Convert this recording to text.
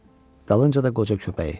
Dalınca da qoca köpəyi.